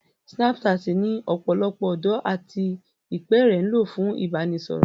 Snapchat ni ọ̀pọ̀lọpọ̀ ọ̀dọ́ àti ìpẹ́ẹ̀rẹ̀ ń lò fún ìbánisọ̀rọ̀